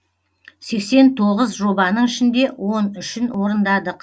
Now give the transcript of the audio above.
сексен тоғыз жобаның ішінде он үшін орындадық